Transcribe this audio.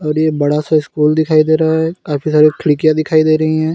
र ये बड़ा सा स्कूल दिखाई दे रहा है काफी सारी खिड़कियां दिखाई दे रही है।